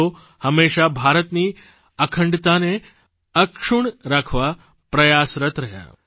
તેઓ હંમેશા ભારતની અખંડતાને અક્ષુણ્ણ રાખવા પ્રયાસરત્ રહ્યા